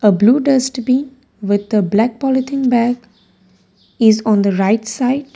a blue dustbin with a black polythene bag is on the right side.